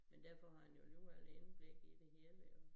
Men derfor han jo alligevel indblik i det hele jo